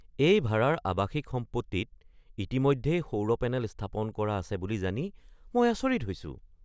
এই ভাৰাৰ আৱাসিক সম্পত্তিত ইতিমধ্যেই সৌৰ পেনেল স্থাপন কৰা আছে বুলি জানি মই আচৰিত হৈছো।